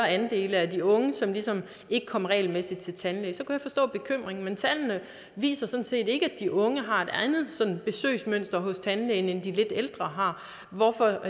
andel af de unge som ligesom ikke kom regelmæssigt til tandlægen så kunne jeg forstå bekymringen men tallene viser sådan set ikke at de unge har et andet besøgsmønster hos tandlægen end de lidt ældre har hvorfor